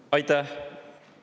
Aitäh!